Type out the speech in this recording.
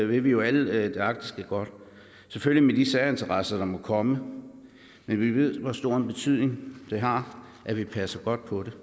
vil vi jo alle det arktiske godt selvfølgelig med de særinteresser der må komme men vi ved hvor stor en betydning det har at vi passer godt på det